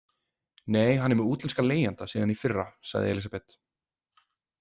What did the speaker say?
Nei, hann er með útlenskan leigjanda síðan í fyrra, sagði Elísabet.